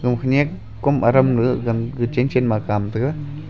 oho nyak kom aram chen chen ma kam te ga.